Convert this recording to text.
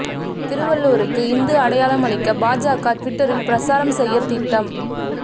திருவள்ளுவருக்கு இந்து அடையாளம் அளிக்க பாஜக டுவிட்டரில் பிரசாரம் செய்ய திட்டம்